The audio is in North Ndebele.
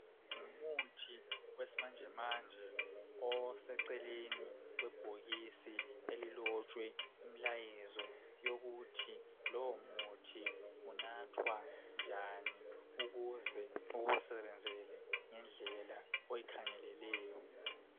Umuthi wesimanje manje oseceleni kwebhokisi elilotshwe imlayezo yokuthi lowo muthi unathwa njani ukuze ukusebenzele ngendlela oyikhangeleleyo.